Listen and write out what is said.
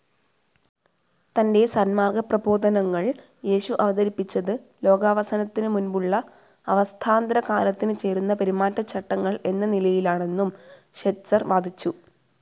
തൻ്റെ സന്മാർഗ്ഗപ്രബോധനങ്ങൾ യേശു അവതരിപ്പിച്ചത് ലോകാവസാനത്തിനു മുൻപുള്ള അവസ്ഥാന്തരകാലത്തിനു ചേരുന്ന പെരുമാറ്റചട്ടങ്ങൾ എന്ന നിലയിലാണെന്നും ഷെറ്റ്സർ വാദിച്ചു.